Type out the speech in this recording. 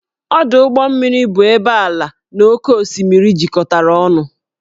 Ọdụ ụgbọ mmiri bụ ebe ala na oké osimiri jikọtara ọnụ